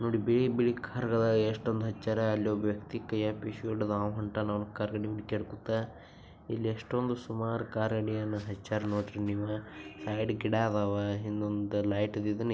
ನೋಡಿ ಬಿಳಿ ಬಿಳಿ ಕಾರ್ ಗಳು ಎಲ್ಲ ಎಷ್ಟೊಂದು ಅಚ್ಚಾರ ಅಲ್ಲೊಬ್ಬ ವ್ಯಕ್ತಿ ಕೈಯಲ್ಲಿ ಟಿಶ್ಯೂ ಇಡಿದು ಹೋಂಟ್ಯಾನು ಅಲ್ಲಿ ಕರೆದಿ ಮೇಲೆ ಕೆರಕುತ್ತ ಇಲ್ಲಿ ಎಷ್ಟೊಂಧು ಸುಮ್ಮಾರು ಕಾರ್ ನಿಲ್ಸಿ ಹಚ್ಚಯ್ರು ನೋಡಿ ಸೈಡ್ ಅಲ್ಲಿ ಗಿಡ ಇದಾವು ಒಂದು ಲೈಟ್ ಇದನ್ನು.